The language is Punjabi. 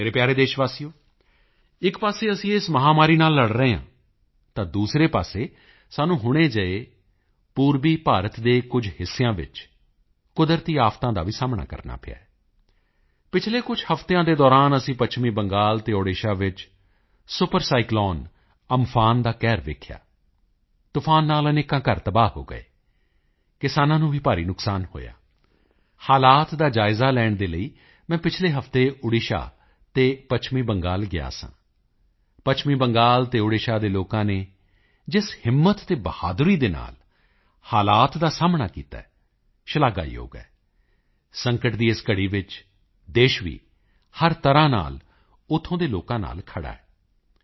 ਮੇਰੇ ਪਿਆਰੇ ਦੇਸ਼ਵਾਸੀਓ ਇੱਕ ਪਾਸੇ ਅਸੀਂ ਇਸ ਮਹਾਂਮਾਰੀ ਨਾਲ ਲੜ ਰਹੇ ਹਾਂ ਤਾਂ ਦੂਸਰੇ ਪਾਸੇ ਸਾਨੂੰ ਹੁਣੇ ਜਿਹੇ ਪੂਰਬੀ ਭਾਰਤ ਦੇ ਕੁਝ ਹਿੱਸਿਆਂ ਵਿੱਚ ਕੁਦਰਤੀ ਆਫਤਾਂ ਦਾ ਵੀ ਸਾਹਮਣਾ ਕਰਨਾ ਪਿਆ ਹੈ ਪਿਛਲੇ ਕੁਝ ਹਫ਼ਤਿਆਂ ਦੇ ਦੌਰਾਨ ਅਸੀਂ ਪੱਛਮੀ ਬੰਗਾਲ ਅਤੇ ਓਡੀਸ਼ਾ ਵਿੱਚ ਸੁਪਰ ਸਾਈਕਲੋਨ ਅਮਫਾਨ ਦਾ ਕਹਿਰ ਦੇਖਿਆ ਤੂਫ਼ਾਨ ਨਾਲ ਅਨੇਕਾਂ ਘਰ ਤਬਾਹ ਹੋ ਗਏ ਕਿਸਾਨਾਂ ਨੂੰ ਵੀ ਭਾਰੀ ਨੁਕਸਾਨ ਹੋਇਆ ਹਾਲਾਤ ਦਾ ਜਾਇਜ਼ਾ ਲੈਣ ਦੇ ਲਈ ਮੈਂ ਪਿਛਲੇ ਹਫ਼ਤੇ ਓਡੀਸ਼ਾ ਅਤੇ ਪੱਛਮੀ ਬੰਗਾਲ ਗਿਆ ਸਾਂ ਪੱਛਮੀ ਬੰਗਾਲ ਅਤੇ ਓਡੀਸ਼ਾ ਦੇ ਲੋਕਾਂ ਨੇ ਜਿਸ ਹਿੰਮਤ ਅਤੇ ਬਹਾਦਰੀ ਦੇ ਨਾਲ ਹਾਲਾਤ ਦਾ ਸਾਹਮਣਾ ਕੀਤਾ ਹੈ ਸ਼ਲਾਘਾਯੋਗ ਹੈ ਸੰਕਟ ਦੀ ਇਸ ਘੜੀ ਵਿੱਚ ਦੇਸ਼ ਵੀ ਹਰ ਤਰ੍ਹਾਂ ਨਾਲ ਉੱਥੋਂ ਦੇ ਲੋਕਾਂ ਨਾਲ ਖੜ੍ਹਾ ਹੈ